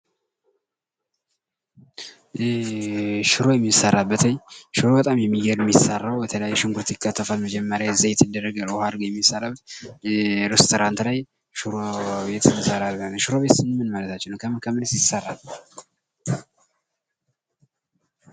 ሽሮ በጣም የሚገርም ሚሰራው ከተለያዩ ሽንኩርት በመከተፍ፣ ዘይት በማድረግ፣ ውሃ በማድረግ ነው። ሽሮ የት የት ይሰራል? ከምን ይሰራል? ምን ጥቅሞች አሉት?